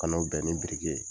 Ka n'o bɛn ni ye.